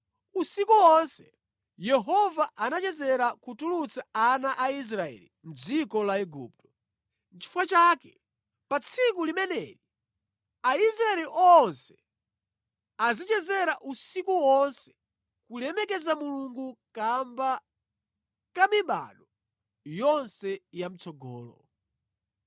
Usiku wonse Yehova anachezera kutulutsa ana a Israeli mʼdziko la Igupto. Nʼchifukwa chake pa tsiku limeneli Aisraeli onse azichezera usiku wonse kulemekeza Mulungu kamba ka mibado yonse ya mʼtsogolo.